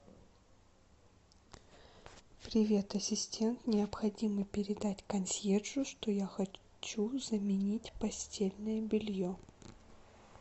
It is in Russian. привет ассистент необходимо передать консьержу что я хочу заменить постельное белье